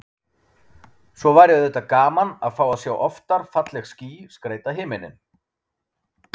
Svo væri auðvitað gaman að fá að sjá oftar falleg ský skreyta himininn.